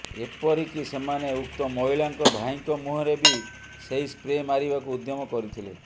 ଏପିରିକି ସେମାନେ ଉକ୍ତ ମହିଳାଙ୍କ ଭାଇଙ୍କ ମୁହଁରେ ବି ସେହି ସ୍ପ୍ରେ ମାରିବାକୁ ଉଦ୍ୟମ କରିଥିଲେ